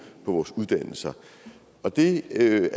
på vores uddannelser det